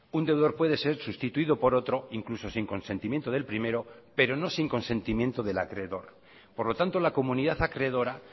un deudor puede ser sustituido por otro incluso sin consentimiento del primero pero no sin consentimiento del acreedor por lo tanto la comunidad acreedora